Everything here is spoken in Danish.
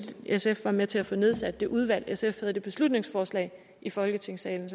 sf var med til at få nedsat det udvalg sf havde det beslutningsforslag i folketingssalen